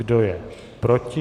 Kdo je proti?